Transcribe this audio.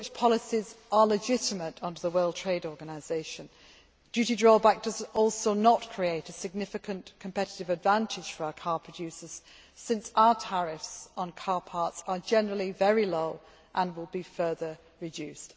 Such policies are legitimate under the World Trade Organisation. Duty drawback also does not create a significant competitive disadvantage for our car producers since our tariffs on car parts are generally very low and will be further reduced.